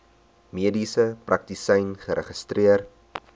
mediese praktisyn geregistreer